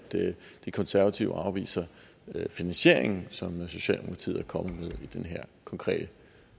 de konservative afviser finansieringen som socialdemokratiet er kommet med i den her konkrete